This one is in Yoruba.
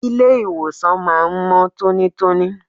Ilé ìwòsàn máa ń mọ́ tónítóní.